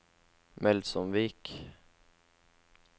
Melsomvik